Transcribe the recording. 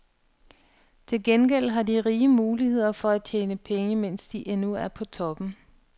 Til gengæld har de rige muligheder for at tjene penge, mens de endnu er på toppen.